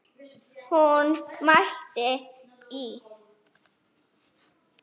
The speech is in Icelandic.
Hún mælti: Á